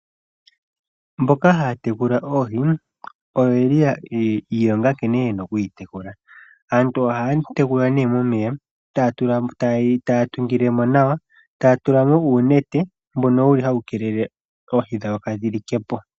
Mboka haya tekula oohi oyo yeli yiilonga nkene yena kudhi tekula. Aantu ohaya tekula ne momeya taya tungile mo nawa, taya tula mo uunete oohi dhawo kaadhi like po.